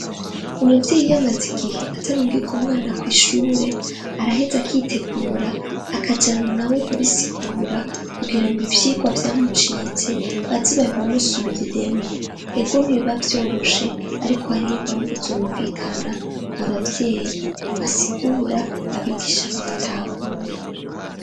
Umuvyeyi yamaze igihe atarungika umwana kwishure araheze akitegura akajana nawe kubisigura kugirango ivyigwa vyamucitse baze babimusubiriremwo ego ntibiba vyoroshe ariko hariho impamvu zumvikana abavyeyi basigura abigisha bagatahura.